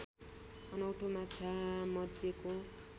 अनौठो माछामध्येको